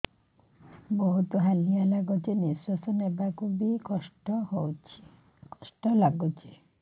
ବହୁତ୍ ହାଲିଆ ଲାଗୁଚି ନିଃଶ୍ବାସ ନେବାକୁ ଵି କଷ୍ଟ ଲାଗୁଚି